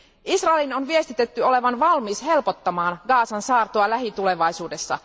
Israelin on viestitetty olevan valmis helpottamaan Gazan saartoa lähitulevaisuudessa.